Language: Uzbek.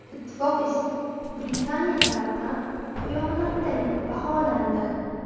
Ittifoq esa Britaniya tarafidan xiyonatday baholandi.